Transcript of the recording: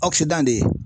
de ye